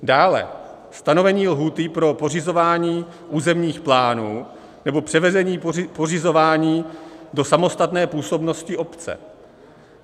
Dále - stanovení lhůty pro pořizování územních plánů nebo převedení pořizování do samostatné působnosti obce.